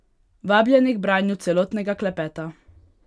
Vabljeni k branju celotnega klepeta!